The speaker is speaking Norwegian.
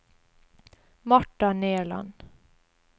Marta Nerland